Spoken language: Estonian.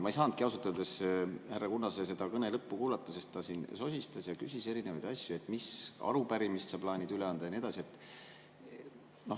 Ma ei saanudki ausalt öeldes härra Kunnase kõne lõppu kuulata, sest ta siin sosistas ja küsis erinevaid asju, et mis arupärimist sa plaanid üle anda ja nii edasi.